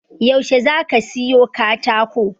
Yaushe zaka siyo katako?